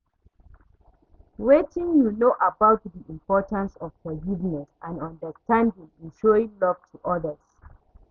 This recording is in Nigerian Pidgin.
wetin you know about di importance of forgiveness and understanding in showing love to odas?